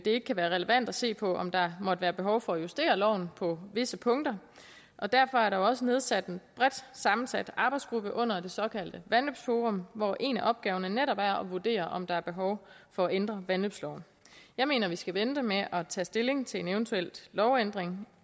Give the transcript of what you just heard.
ikke kan være relevant at se på om der måtte være behov for at justere loven på visse punkter og derfor er der også nedsat en bredt sammensat arbejdsgruppe under det såkaldte vandløbsforum hvor en af opgaverne netop er at vurdere om der er behov for at ændre vandløbsloven jeg mener vi skal vente med at tage stilling til en eventuel lovændring